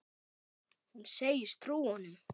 Hún segist trúa honum.